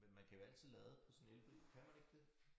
Men man kan jo altid lade på sådan elbil kan man ikke det